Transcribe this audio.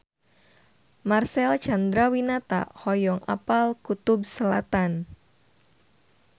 Marcel Chandrawinata hoyong apal Kutub Selatan